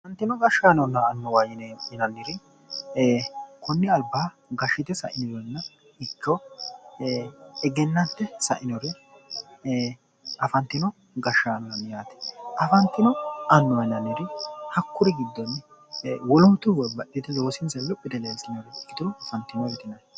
Gashshite sainorenna annuwa yineemo woyite koni albaanni gashshite sainoretinna afantinoreeti yaate afantino annuw yineemori hakkuriy babbaxitinnoreetinna loosinsanni luphi yite leellitannoreeti.